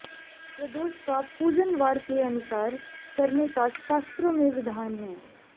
प्रदोष का पूजन वार के अनुसार करने का शास्त्रों में विधान है